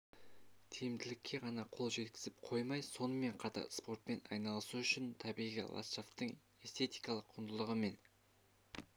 тиімділікке ғана қол жеткізіп қоймай сонымен қатар спортпен айналысу үшін табиғи ладшафтың эстетикалық құндылығы мен